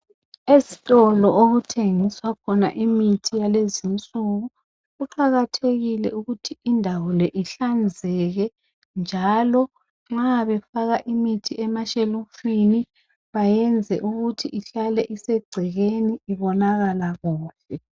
Ezitolo okuthengiswa khona imithi yalezinsuku kuqakathekile ukuthi indawo le hlanzeke. Njalo nxa befaka imithi emashelufini ibesegcekeni njalo ihlaliswe kuhle.